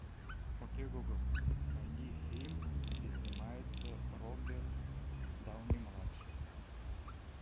окей гугл найди фильм где снимается роберт дауни младший